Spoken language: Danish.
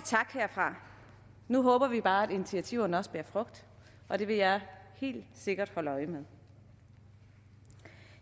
tak herfra nu håber vi bare at initiativerne også bærer frugt og det vil jeg helt sikkert holde øje med